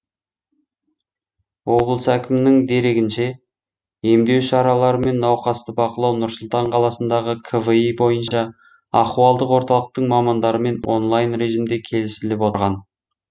облыс әкімінің дерегінше емдеу шаралары мен науқасты бақылау нұр сұлтан қаласындағы кви бойынша ахуалдық орталықтың мамандарымен онлайн режимде келісіліп отырған